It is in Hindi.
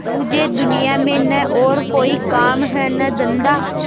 मुझे दुनिया में न और कोई काम है न धंधा